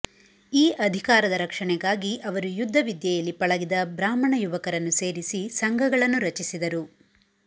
ಈ ಅಧಿಕಾರದ ರಕ್ಷಣೆಗಾಗಿ ಅವರು ಯುದ್ಧ ವಿದ್ಯೆಯಲ್ಲಿ ಪಳಗಿದ ಬ್ರಾಹ್ಮಣ ಯುವಕರನ್ನು ಸೇರಿಸಿ ಸಂಘಗಳನ್ನು ರಚಿಸಿದರು